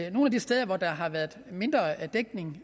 at nogle af de steder hvor der har været mindre dækning